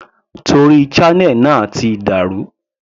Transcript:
Torí channel náà ti dà rú.